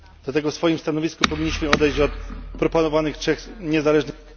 Dlatego w swoim stanowisku powinniśmy odejść od proponowanych trzech niezależnych